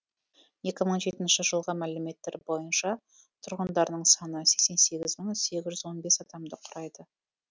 екі мың жетінші жылғы мәліметтер бойынша тұрғындарының саны сексен сегіз мың сегіз жүз сексен бес адамды құрайды